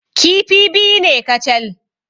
Kifi biyu ne kacal.